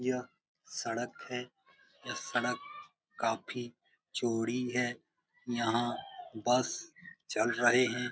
यह सड़क है। यह सड़क काफी चौड़ी है। यहाँ बस चल रहे हैं।